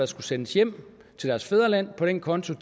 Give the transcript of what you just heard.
skulle sendes hjem til deres fædreland på den konto